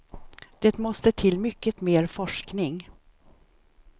Det måste till mycket mer forskning.